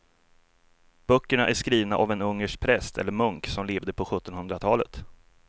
Böckerna är skrivna av en ungersk präst eller munk som levde på sjuttonhundratalet.